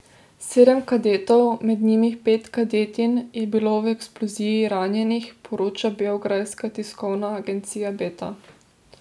Sedem kadetov, med njimi pet kadetinj, je bilo v eksploziji ranjenih, poroča beograjska tiskovna agencija Beta.